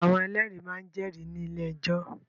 Àwọn ẹlẹ́rìí máa ń jẹ́rìí ní ilé-ẹjọ́.